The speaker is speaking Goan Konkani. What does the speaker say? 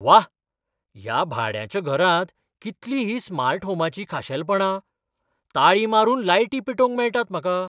व्वा, ह्या भाड्याच्या घरांत कितलीं हीं स्मार्ट होमाचीं खाशेलपणां! ताळी मारून लायटी पेटोवंक मेळटात म्हाका!